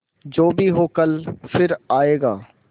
जो भी हो कल फिर आएगा